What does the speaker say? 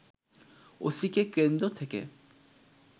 ওসিকে কেন্দ্র থেকে